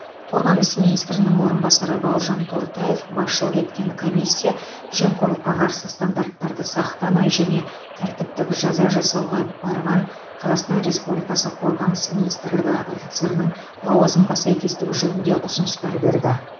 қорғаныс министрінің орынбасары бауыржан тортаев басшылық еткен комиссия жемқорлыққа қарсы стандарттарды сақтамай және тәртіптік жаза жасауға барған қазақстан республикасы қорғаныс министрлігі офицерінің лауазымға сәйкестігі жөнінде ұсыныстар берді